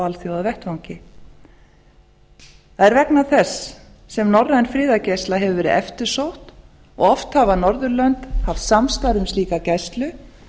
alþjóðavettvangi það er vegna þess sem norræn friðargæsla hefur verið eftirsótt og oft hafa norðurlönd haft samstarf um slíka gæslu